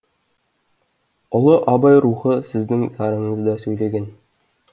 ұлы абай рухы сіздің зарыңызда сөйлеген